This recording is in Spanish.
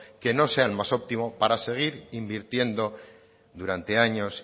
que no sea el más óptimo para seguir invirtiendo durante años